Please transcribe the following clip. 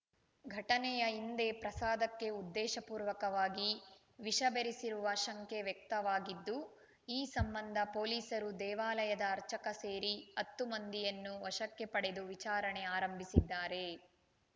ಘಟನೆಯ ಹಿಂದೆ ಪ್ರಸಾದಕ್ಕೆ ಉದ್ದೇಶಪೂರ್ವಕವಾಗಿ ವಿಷಬೆರೆಸಿರುವ ಶಂಕೆ ವ್ಯಕ್ತವಾಗಿದ್ದು ಈ ಸಂಬಂಧ ಪೊಲೀಸರು ದೇವಾಲಯದ ಅರ್ಚಕ ಸೇರಿ ಹತ್ತು ಮಂದಿಯನ್ನು ವಶಕ್ಕೆ ಪಡೆದು ವಿಚಾರಣೆ ಆರಂಭಿಸಿದ್ದಾರೆ